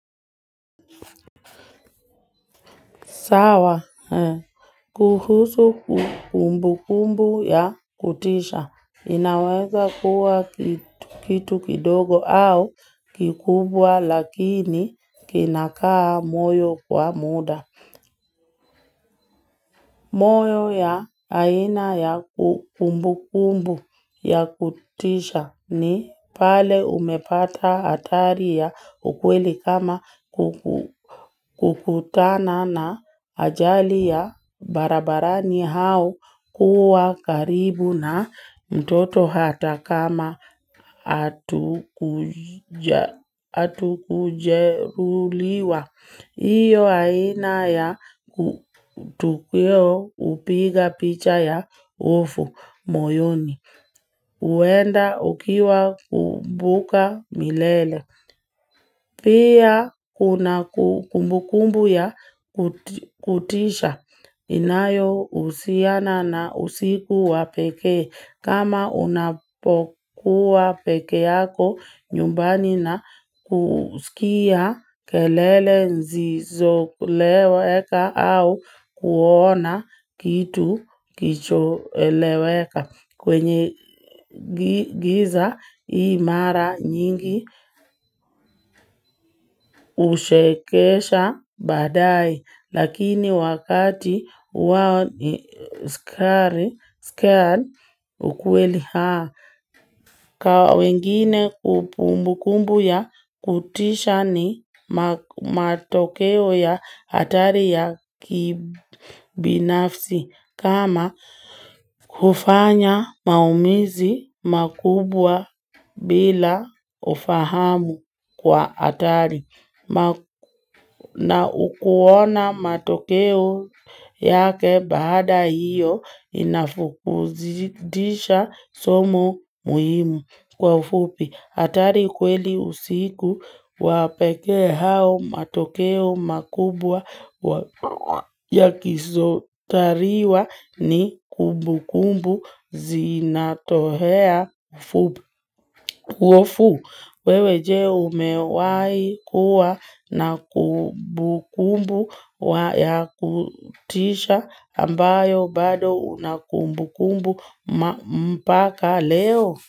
Sawa. Kuhusu kumbu kumbu ya kutisha. Inaweza kuwa kitu kidogo au kikubwa lakini kinakaa moyo kwa muda. Moyo ya aina ya kumbu kumbu ya kutisha ni pale umepata hatari ya ukweli kama kukutana na ajali ya barabarani au kuwa karibu na mtoto hata kama hatuku jeruliwa. Iyo aina ya kutukweo hupiga picha ya ufu moyoni. Huenda ukiwa kumbuka milele. Pia kuna kumbukumbu ya kutisha. Inayo husiana na usiku wa pekee. Kama unapokuwa peke yako nyumbani na kusikia kelele zizo eleweka au kuona kitu kicho eleweka kwenye giza hii mara nyingi hushekesha baadae. Lakini wakati wakati skar ukueli haa. Kwa wengine kumbu kumbu ya kutisha ni matokeo ya hatari ya kibinafsi. Kama kufanya maumizi makubwa bila ufahamu kwa hatari. Na ukuona matokeo yake bada hiyo inafukuzidisha somo muhimu kwa ufupi. Hatari kweli usiku wa pekee hao matokeo makubwa ya kisotariwa ni kumbu kumbu zinatohea ufupi. Tuofu wewe je umewahi kuwa na kumbu kumbu wa ya kutisha ambayo bado na kumbu kumbu mpaka leo.